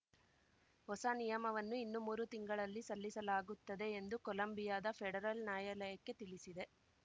ಹೊಸ ನಿಯಮವನ್ನು ಇನ್ನು ಮೂರು ತಿಂಗಳಲ್ಲಿ ಸಲ್ಲಿಸಲಾಗುತ್ತದೆ ಎಂದು ಕೊಲಂಬಿಯಾದ ಫೆಡರಲ್‌ ನ್ಯಾಯಾಲಯಕ್ಕೆ ತಿಳಿಸಿದೆ